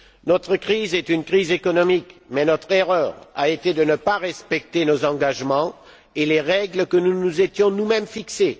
Notre crise est une crise économique, mais notre erreur a été de ne pas respecter nos engagements et les règles que nous nous étions, nous mêmes, fixées.